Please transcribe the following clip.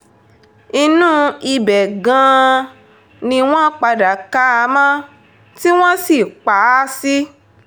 inú ibẹ̀ gan-an ni wọ́n padà ká a mọ́ tí wọ́n sì pa á sí sí